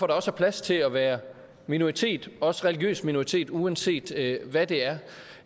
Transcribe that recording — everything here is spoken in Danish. der også er plads til at være minoritet også religiøs minoritet uanset hvad det